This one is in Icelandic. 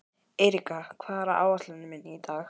Eiríka, hvað er á áætluninni minni í dag?